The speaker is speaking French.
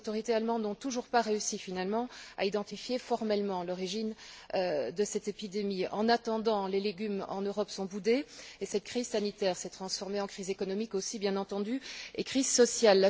Les autorités allemandes n'ont toujours pas réussi finalement à identifier formellement l'origine de cette épidémie. En attendant, les légumes en Europe sont boudés et cette crise sanitaire s'est transformée en crise économique aussi, bien entendu, et en crise sociale.